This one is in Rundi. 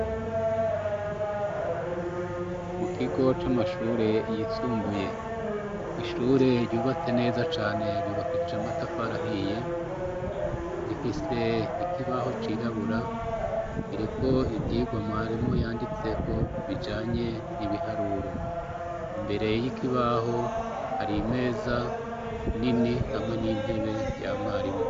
Mu kigo c'amashure yisumbuye ,ishure ryubatse neza cane ryubakishije amatafar’ahiye ,rifise ikibaho cirabura ,kiriko ivyigwa mwarimu yanditseko bijanye n'ibiharuro ,imbere y'ikibaho hari meza nini hamwe n'intebe vya mwarimu.